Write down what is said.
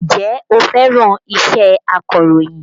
Ǹjẹ́ o fẹ́ràn iṣẹ́ akọ̀rọ̀yìn?